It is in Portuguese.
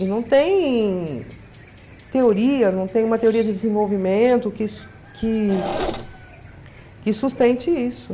E não tem teoria, não tem uma teoria de desenvolvimento que su que que sustente isso.